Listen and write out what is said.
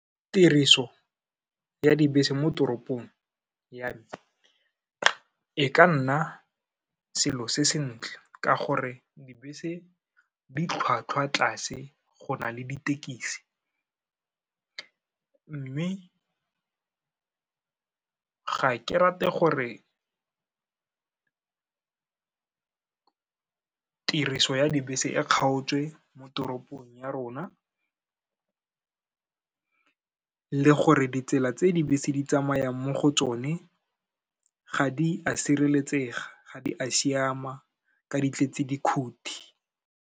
Tiriso ya dibese mo toropong ya me, e ka nna selo se sentle ka gore dibese ditlhwatlhwa tlase go na le ditekisi, mme ga ke rate gore tiriso ya dibese e kgaotswe mo toropong ya rona, le gore ditsela tse dibese di tsamayang mo go tsone, ga di a sireletsega, ga di a siama, ka di tletse dikhuti.